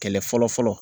Kɛlɛ fɔlɔ fɔlɔ